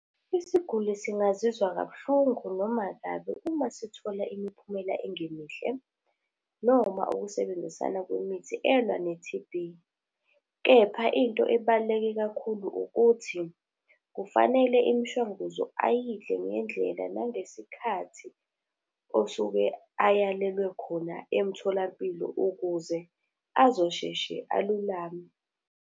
Isiguli singazizwa kabuhlungu noma kabi uma sithola imiphumela engemihle, noma ukusebenzisana kwemithi elwa ne-T_B. Kepha into ebaluleke kakhulu ukuthi, kufanele imishanguzo ayidle ngendlela nangesikhathi osuke ayalelwa khona emtholampilo ukuze azosheshe alulame.